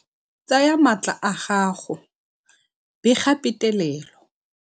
Tsaya maatla a gago, bega petelelo